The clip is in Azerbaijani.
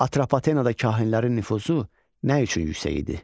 Atropatenada kahinlərin nüfuzu nə üçün yüksək idi?